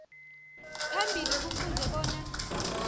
phambili kufuze bona